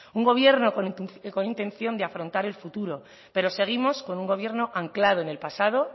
un gobierno con intención de afrontar el futuro pero seguimos con un gobierno anclado en el pasado